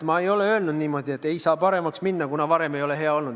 Ma ei ole öelnud, et ei saa paremaks minna, kuna varem ei ole hea olnud.